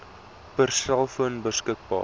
per selfoon beskikbaar